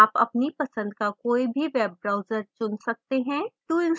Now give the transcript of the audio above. आप अपनी पसंद का कोई भी web browser चुन सकते हैं